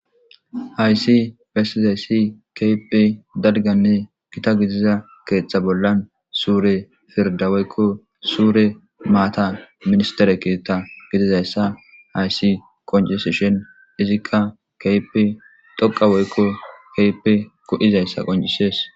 Hayisi besizayisi kehippe daligane ketha bollani sure gidida woyiko sure minister gididayisa hayis qoncisishini izi kehipe dhoqa woyi kehipe go'zayis qoncisesi